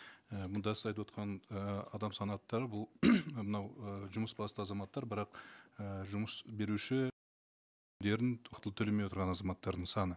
і мында сіз айтып отқан ііі адам санаттары бұл мынау і жұмыс басты азаматтар бірақ і жұмыс беруші төлемей отырған азаматтардың саны